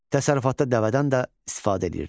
Təsərrüfatda dəvədən də istifadə eləyirdilər.